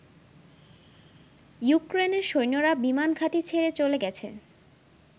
ইউক্রেনের সৈন্যরা বিমান ঘাঁটি ছেড়ে চলে গেছে।